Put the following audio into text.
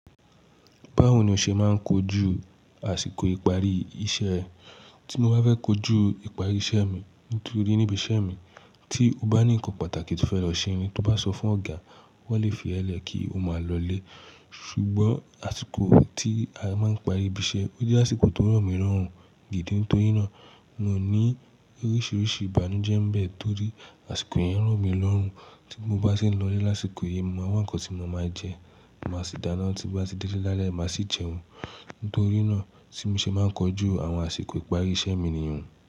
Báwo ni o ṣe máa ń kojú àsìkò ìparí iṣẹ́ ẹ? Tí mo bá fẹ́ kojú ìparí iṣẹ́ mi, nítorí níbi iṣẹ́ mi tí o bá ní ǹkan pàtàkì tí o fẹ́ lọ ṣe ni, tí o bá sọ fún ọ̀gá, wọn lè fi ẹ́ lẹ̀ kí o máa lọlé. Ṣùgbọ́n àsìkò tí a máa ń parí ibi iṣẹ́, ó jẹ́ àsìkò tó rọ̀ mì lorun. Òǹ gidi? Nítorí náà, mo ní oríṣiríṣi ìbànújẹ́ ń bẹ torí àsìkò yẹn rọ̀ mì lorun. Tí mo bá ṣe ń lọlé lásìkò yìí, mo maa wa ǹkan tí mo máa jẹ, màá sì dáná. Tí mo bá ti délé lálẹ́, màá sì jẹun. Nítorí náà, tí mo ṣe máa ń kojú àwọn àsìkò ìparí iṣẹ́ mi nìyẹn.